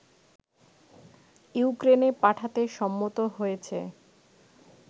ইউক্রেনে পাঠাতে সম্মত হয়েছে